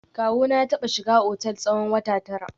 Kawuna ya taba shiga otel tsawon wata tara